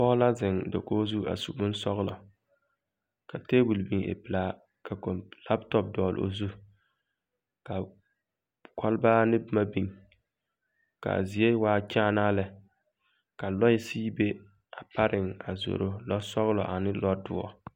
Pͻge la zeŋe dakogi zu a su bonsͻgelͻ, ka teebole biŋ e pelaa. ka kͻmp laapotͻpo dͻgele o zu, ka kͻlebaare ne boma biŋ, ka a zie waa kyaanaa lԑ. ka lͻԑ sigi be a pareŋ a zoro, lͻͻsͻgelͻ ane lͻͻdõͻre.